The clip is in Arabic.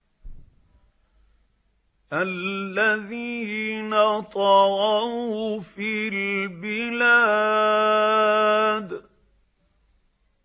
الَّذِينَ طَغَوْا فِي الْبِلَادِ